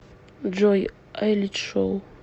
джой айлич шоу